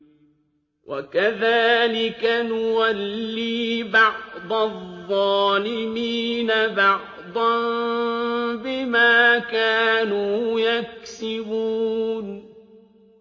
وَكَذَٰلِكَ نُوَلِّي بَعْضَ الظَّالِمِينَ بَعْضًا بِمَا كَانُوا يَكْسِبُونَ